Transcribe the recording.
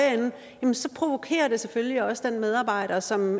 ende så provokerer det selvfølgelig også den medarbejder som